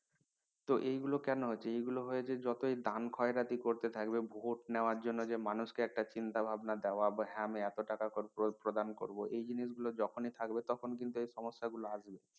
তো এই গুলো কেন হচ্ছে এইগুলো হচ্ছে এগুলো হয় যে যতই দেন খয়রাতি করতে থাকবে ভোট নেওয়ার জন্যে ড এ মানুষকে একটা চিন্তা ভাবনা দেওয়া বা হ্যাঁ আমি এত টাকা করব প্রধান করব এই জিনিসগুলো যখন ই থাকবে তখন কিন্তু এই সমস্যা গুলো থাকবে